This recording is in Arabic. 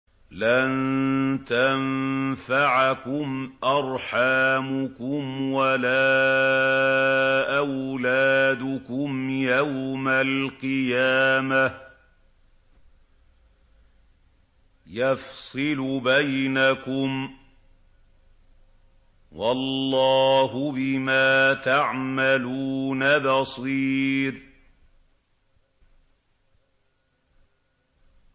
لَن تَنفَعَكُمْ أَرْحَامُكُمْ وَلَا أَوْلَادُكُمْ ۚ يَوْمَ الْقِيَامَةِ يَفْصِلُ بَيْنَكُمْ ۚ وَاللَّهُ بِمَا تَعْمَلُونَ بَصِيرٌ